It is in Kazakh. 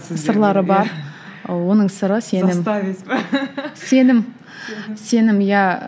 сырлары бар оның сыры сенім сенім сенім иә